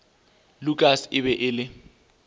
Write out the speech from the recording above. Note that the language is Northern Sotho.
lukas e be e le